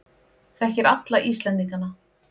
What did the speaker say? Þekkir alla Íslendingana.